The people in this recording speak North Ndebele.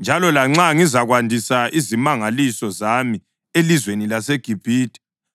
njalo lanxa ngizakwandisa izimangaliso zami elizweni laseGibhithe,